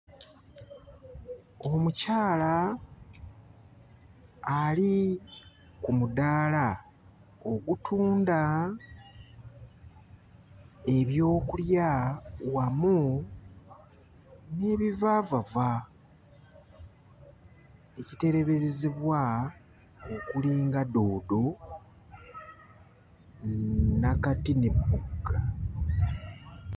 Omukyala ali ku mudaala ogutunda ebyokulya wamu n'ebivaavava, ekiteeberezebwa okuli nga doodo, nakati n'ebbugga.